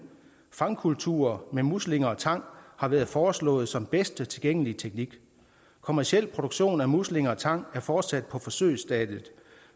fangkultur med muslinger og tang har været foreslået som bedste tilgængelige teknik kommerciel produktion af muslinger og tang er fortsat på forsøgsstadiet